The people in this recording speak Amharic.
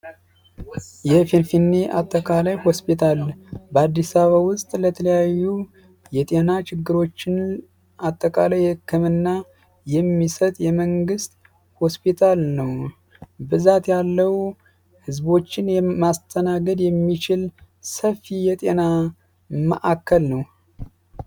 የፊንፊኔ አጠቃላይ ሆስፒታል በአዲስ አበባ ውስጥ ለተለያዩ የጤና ችግሮችን አጠቃላይ የህክምና የሚሰጥ የመንግስት ሆስፒታል ነው። ብዛት ያለው ህዝቦችን የማስተናገድ የሚችል ሰፊ የጤና ማዕከል ነው ።